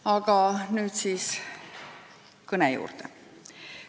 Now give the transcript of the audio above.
Aga nüüd kõne juurde.